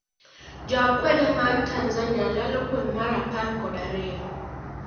Jo akwede ma Tanzania lalo gweng' mar apar kod ariyo